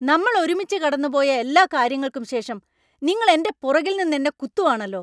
നമ്മൾ ഒരുമിച്ച് കടന്നുപോയ എല്ലാ കാര്യങ്ങൾക്കും ശേഷം നിങ്ങൾ എന്‍റെ പുറകിൽ നിന്ന് എന്നെ കുത്തുവാണല്ലോ.